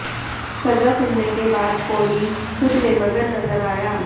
सजा सुनने के बाद कोली खुद में मगन नजर आया